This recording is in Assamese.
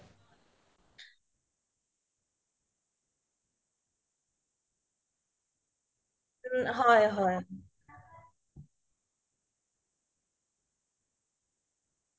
কিন্তু এতিয়াও দেখা যাই মানুহবোৰ ইমান বেচি সজাগ হুৱা নাই এতিয়াও ৰাস্তাই ঘাতেও মোই উলালেও মই দেখো য'তে ত'তে জাবৰ পেলাইছে